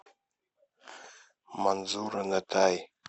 манзура нетай